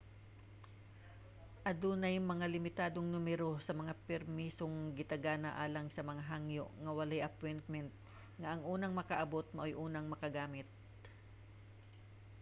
adunay mga limitadong numero sa mga permisong gitagana alang sa mga hangyo nga walay appointment nga ang unang makaabot maoy unang makagamit